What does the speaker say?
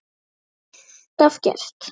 Hefur alltaf gert.